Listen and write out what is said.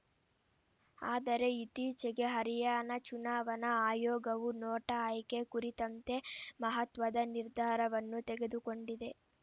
ಆದರೆ ಇತ್ತೀಚೆಗೆ ಹರಿಯಾಣ ಚುನಾವಣಾ ಆಯೋಗವು ನೋಟಾ ಆಯ್ಕೆ ಕುರಿತಂತೆ ಮಹತ್ವದ ನಿರ್ಧಾರವನ್ನು ತೆಗೆದುಕೊಂಡಿದೆ